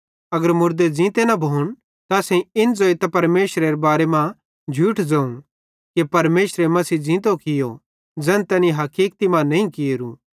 अगर मुड़दे ज़ींते न भोन त असेईं इन ज़ोइतां परमेशरेरे बारे मां झूठ ज़ोवं कि परमेशरे मसीह ज़ींतो कियो ज़ैन तैनी हकीकति मां नईं कियोरू